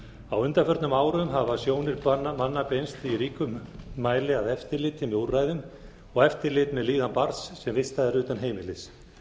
á undanförnum árum hafa sjónir manna beinst í ríkum mæli að eftirliti með úrræðum og eftirlit með líðan barns sem vistað er utan heimilis